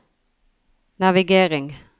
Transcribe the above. navigering